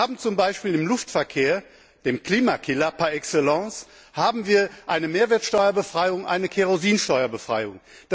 Wir haben zum Beispiel im Luftverkehr dem Klimakiller par excellence eine Mehrwertsteuerbefreiung und eine Kerosinsteuerbefreiung.